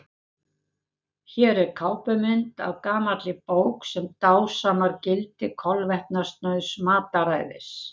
Hér er kápumynd af gamalli bók sem dásamar gildi kolvetnasnauðs mataræðis.